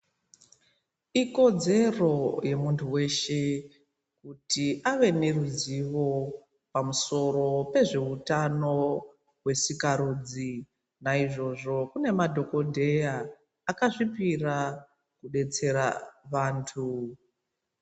Ikodzero yemuntu weshe kuti ave neruzivo pamusoro pezveutano hwetsikarudzi naizvozvo kune madhokodheya akazvipira kudetsere vantu.